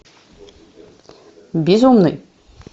безумный